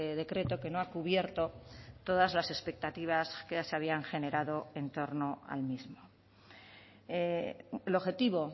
decreto que no ha cubierto todas las expectativas que se habían generado en torno al mismo el objetivo